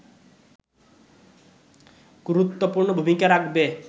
গুরুত্বপূর্ণ ভূমিকা রাখবে